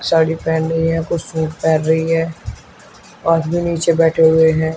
साड़ी पेहन रही है कुछ सूट पेहन रही है आदमी नीचे बैठे हुए हैं।